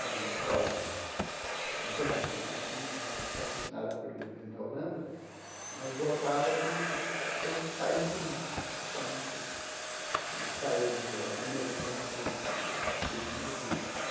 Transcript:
Era uma escola internacional assim né, patrocinada pelo governo da Holanda, mas voltada para o todos os países do mundo né, principalmente dos países emergentes ou eh subdesenvolvidos.